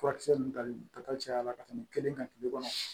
Furakisɛ ninnu tali ta caya la ka tɛmɛ kelen kan kile kɔnɔ